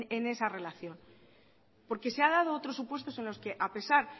en esa relación porque se han dado otros supuestos en lo que a pesar